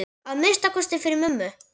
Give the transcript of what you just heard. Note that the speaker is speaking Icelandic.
Að minnsta kosti fyrir mömmu.